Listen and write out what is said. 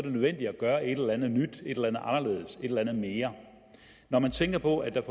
nødvendigt at gøre et eller andet nyt et eller andet anderledes et eller andet mere når man tænker på at der